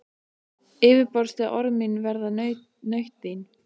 Yfirborðsleg orð mín verða nautn þín.